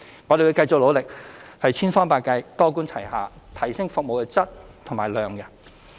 我們會繼續努力，千方百計、多管齊下提升服務的質和量。